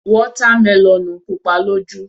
Wọ́tá melọ̀nù pupa lójú.